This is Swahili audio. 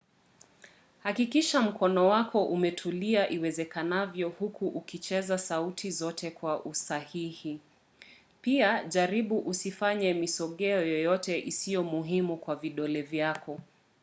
hakikisha mkono wako umetulia iwezekanavyo huku ukicheza sauti zote kwa usahihi - pia jaribu usifanye misogeo yoyote isiyo muhimu kwa vidole vyako